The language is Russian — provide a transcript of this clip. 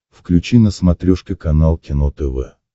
включи на смотрешке канал кино тв